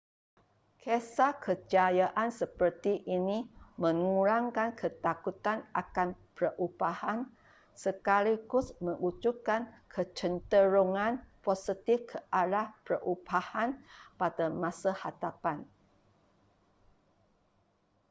kisah kejayaan seperti ini mengurangkan ketakutan akan perubahan sekaligus mewujudkan kecenderungan positif ke arah perubahan pada masa hadapan